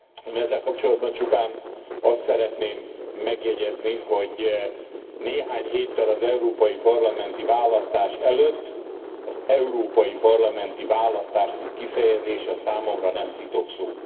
Én ezzel kapcsolatban csupán azt szeretném megjegyezni, hogy néhány héttel az európai parlamenti választás előtt, az európai parlamenti választás mint kifejezés számomra nem szitokszó.